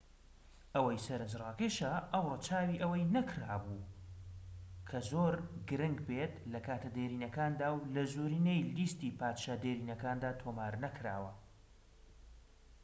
ئەوەی سەرنجڕاکێشە ئەو رەچاوی ئەوە نەکرابوو کە زۆر گرنگ بێت لە کاتە دێرینەکاندا و لە زۆرینەی لیستی پادشا دێرینەکاندا تۆمار نەکراوە